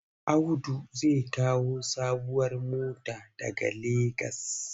Audu zai kawo sabuwar mota daga Legas.